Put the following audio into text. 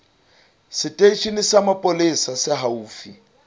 seteisheneng sa mapolesa se haufi